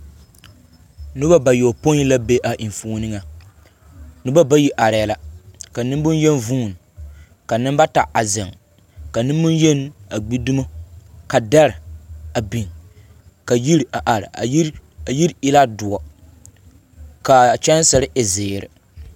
Noba bayopõi la be a enfuoni ŋaŋ. Noba bayi arɛɛ la ka nemboŋyeni vuuni, ka nembata a zeŋ, nemboŋyeni a gbi dumo. Ka dɛre a biŋ ka yiri a are. A yiri, ayiri e la doɔ. Ka a kyɛnsere e zeere.